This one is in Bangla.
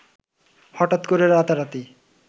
হঠাৎ করে রাতারাতি